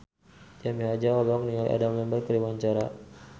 Jaja Mihardja olohok ningali Adam Lambert keur diwawancara